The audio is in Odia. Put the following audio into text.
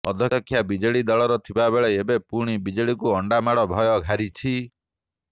ଅଧ୍ୟକ୍ଷା ବିଜେଡି ଦଳର ଥିବାବେଳେ ଏବେ ପୁଣି ବିଜେଡିକୁ ଅଣ୍ଡାମାଡ଼ ଭୟ ଘାରିଛି